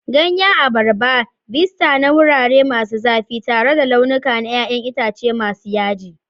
Ganyen abarba, vista na wurare masu zafi tare da layuka na 'ya'yan itace masu yaji.